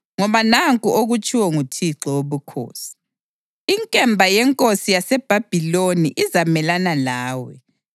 Ngoba nanku okutshiwo nguThixo Wobukhosi: Inkemba yenkosi yaseBhabhiloni izamelana lawe.